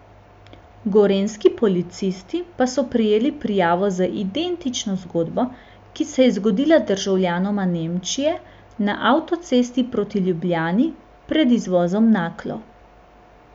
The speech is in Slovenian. Gorenjski policisti pa so prejeli prijavo z identično zgodbo, ki se je zgodila državljanoma Nemčije na avtocesti proti Ljubljani pred izvozom Naklo.